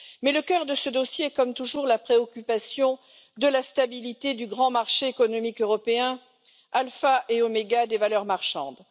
Mais le cœur de ce dossier est, comme toujours, la préoccupation de la stabilité du grand marché économique européen, alpha et oméga des valeurs marchandes.